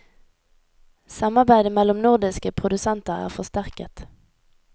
Samarbeidet mellom nordiske produsenter er forsterket.